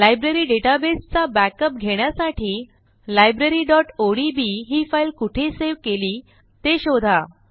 library डेटाबेसचा backup घेण्यासाठी libraryओडीबी ही फाईल कुठे सेव्ह केली ते शोधा